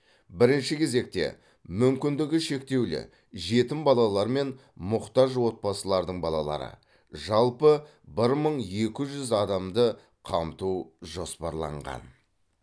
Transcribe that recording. бірінші кезекте мүмкіндігі шектеулі жетім балалар мен мұқтаж отбасылардың балалары жалпы бір мың екі жүз адамды қамту жоспарланған